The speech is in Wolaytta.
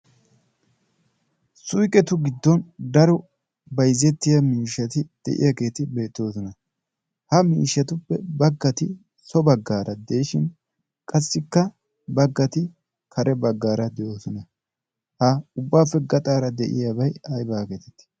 suyqetu giddon daro bayzzettiya miishshati deyiyaageeti beettoosona. ha miishshatuppe baggati so baggaara deeshin qassikka baggati kare baggaara de'oosona. ha ubbaappe gaxaara de'iyaabay ay baageetettii